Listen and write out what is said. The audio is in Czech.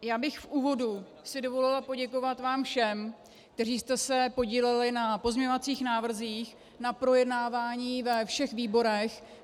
Já bych v úvodu si dovolila poděkovat vám všem, kteří jste se podíleli na pozměňovacích návrzích, na projednávání ve všech výborech.